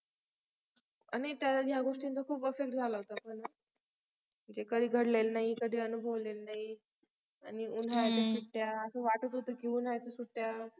आणि ह्या गोष्टींचा खूप असर झाला होता का नाही म्हणजे कधी घडलेल नाही कधी अनुभवलेल नाही आणि उन्हाळ्याच्या सुट्ट्या असा वाटतं होतं की उन्हाळ्याच्या सुट्ट्या